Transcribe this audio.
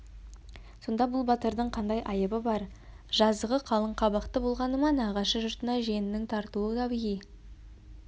сонда бұл батырдың қандай айыбы бар жазығы қалың қабақты болғаны ма нағашы жұртына жиенінің тартуы табиғи